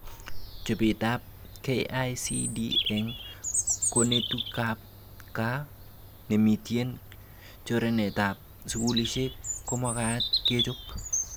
Chobetab KICD eng konetutikab gaa nemitien choranetab skulishek komagat kechob